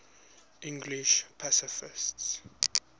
english pacifists